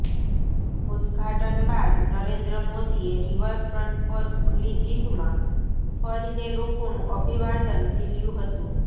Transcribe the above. ઉદઘાટન બાદ નરેન્દ્ર મોદીએ રિવરફ્ર્ન્ટ પર ખુલ્લી જીપમાં ફરીને લોકોનું અભિવાદન ઝીલ્યું હતું